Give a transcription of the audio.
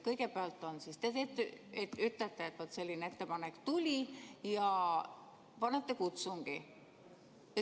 Kõigepealt te ütlete, et selline ettepanek tuli, ja panete käima kutsungi.